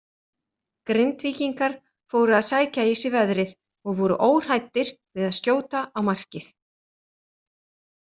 Grindvíkingar fóru að sækja í sig veðrið og voru óhræddir við að skjóta á markið.